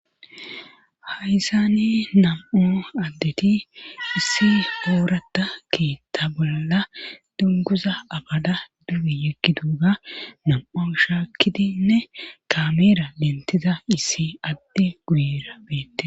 Hayzani nam'o addeti issi hoorata keetta bolla dunguza abada dumi yekki duuga nam7o shaakkidinne kameera lentiza issi adti guyira beette.